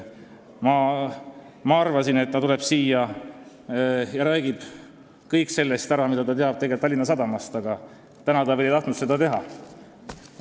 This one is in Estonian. Ma arvasin, et ta tuleb siia ja räägib ära kõik sellest, mida ta teab tegelikult Tallinna Sadamast, aga täna ta ei tahtnud seda teha.